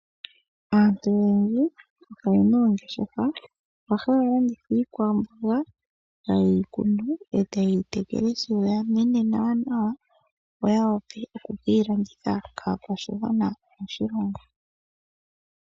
Aantu oyendji oye na oongeshefa mono hamu landithwa iikwamboga taye yi kunu ,e taye yi tekele ishewe , tayi mene nawanawa opo ya wape oku keyi landitha kaakwashigwana moshilongo.